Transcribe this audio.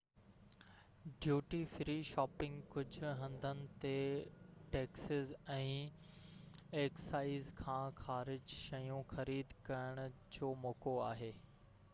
duty free shopping ڪجهه هنڌن تي ٽيڪسز ۽ ايڪسائيز کان خارج شيون خريد ڪرڻ جو موقعو آهي